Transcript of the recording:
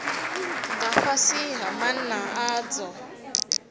nga fhasi ha maana adzo